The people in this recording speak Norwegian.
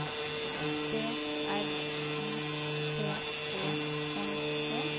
B R I T E N E